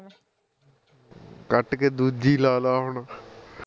cut ਕੇ ਦੂਜੀ ਲਾ ਲਾ ਹੁਣ